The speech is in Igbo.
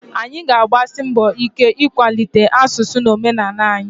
Anyị ga-agbasi mbọ ike ịkwalite asụsụ na omenala anyị